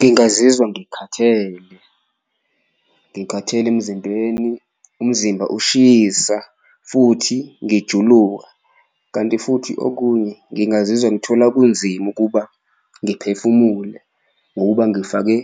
Ngingazizwa ngikhathele ngikhathele emzimbeni umzimba ushisa futhi ngijuluka, kanti futhi okunye ngingazizwa ngithola kunzima ukuba ngiphefumule ngokuba ngifake